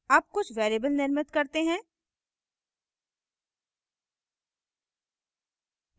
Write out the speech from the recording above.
अब कुछ variables निर्मित करते हैं